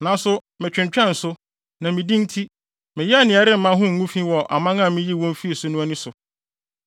Nanso metwentwɛn so, na me din nti, meyɛɛ nea ɛremma ho ngu fi wɔ aman a miyii wɔn fii so no ani so.